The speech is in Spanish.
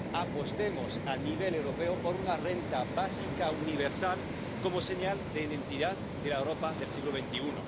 Apostemos a nivel europeo por una renta básica universal como señal de identidad de la Europa del siglo XXI.